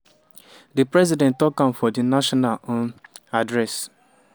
di president tok am for di national um address